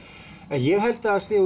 ég held að það sé